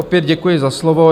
Opět děkuji za slovo.